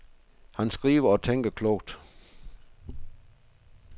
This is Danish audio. Han skriver og tænker klogt.